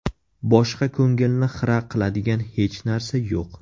Boshqa ko‘ngilni xira qiladigan hech narsa yo‘q.